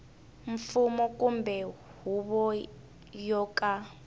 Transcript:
mfumo kumbe huvo yo ka